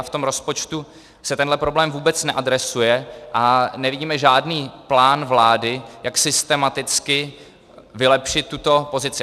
A v tom rozpočtu se tenhle problém vůbec neadresuje a nevidíme žádný plán vlády, jak systematicky vylepšit tuto pozici.